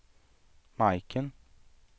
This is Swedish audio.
Majken